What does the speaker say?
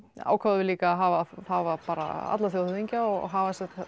ákváðum við líka að hafa hafa alla þjóðhöfðingja og hafa